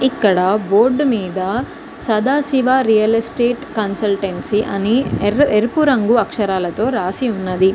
ఇక్కడ బోర్డు మీద Sadashiva real estate consultancy అని ఎరుపు రంగు అక్షరాలతో రాసి ఉన్నది.